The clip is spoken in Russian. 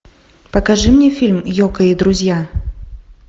покажи мне фильм йоко и друзья